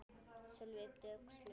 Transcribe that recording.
Sölvi yppti öxlum.